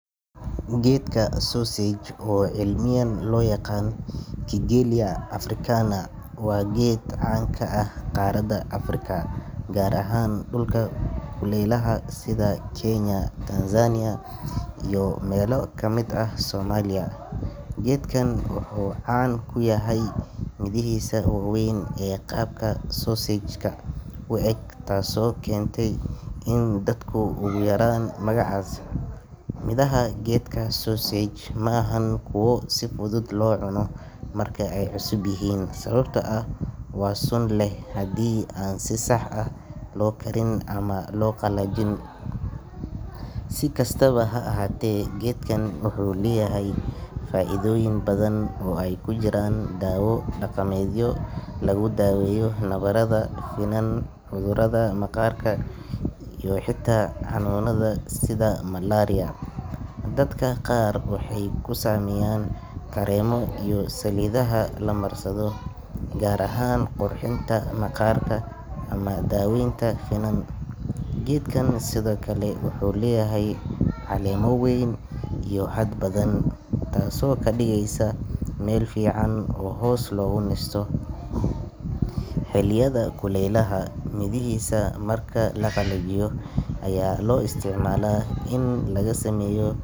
Geedka sausage, oo cilmiyan loo yaqaan Kigelia Africana, waa geed caan ka ah qaaradda Afrika, gaar ahaan dhulka kulaylaha sida Kenya, Tanzania iyo meelo ka mid ah Soomaaliya. Geedkan wuxuu caan ku yahay midhihiisa waaweyn ee qaabka sausage-ka u eg, taasoo keentay in dadku ugu yeeraan magacaas. Midhaha geedka sausage ma ahan kuwo si fudud loo cuno marka ay cusub yihiin, sababtoo ah waa sun leh haddii aan si sax ah loo karin ama loo qallajin. Si kastaba ha ahaatee, geedkan wuxuu leeyahay faa’iidooyin badan oo ay ku jiraan dawo dhaqameedyo lagu daaweeyo nabarada, finan, cudurrada maqaarka, iyo xitaa xanuunada sida malaria. Dadka qaar waxay ka sameeyaan kareemo iyo saliidaha la marsado, gaar ahaan qurxinta maqaarka ama daaweynta finan. Geedkan sidoo kale wuxuu leeyahay caleemo weyn iyo hadh badan, taasoo ka dhigeysa meel fiican oo hoos loogu nasto xilliyada kulaylaha. Midhihiisa marka la qalajiyo ayaa loo isticmaalaa in laga sameeyo.